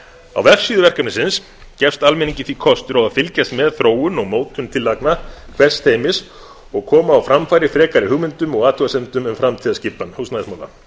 á vefsíðu verkefnisins gefst almenningi því kostur á að fylgjast með þróun og mótun tillagna hvers teymis og koma á framfæri frekari hugmyndum og athugasemdum um framtíðarskipan húsnæðismála